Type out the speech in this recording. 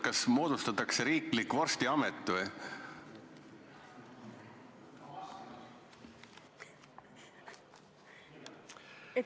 Kas moodustatakse riiklik vorstiamet või?